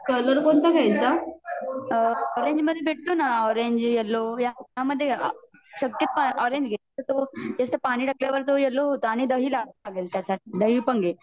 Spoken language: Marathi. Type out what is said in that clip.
कलर कोणता घ्यायचा? ऑरेंज मधे भेटतो ना ऑरेंज येल्लो या मधे शक्यतो ऑरेंज घे `कस पानी टाकल्यावर तो येल्लो होतो आणि दहि लवाव लागेल त्याच्या साठी दहि पण घे